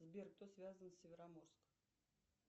сбер кто связан с североморском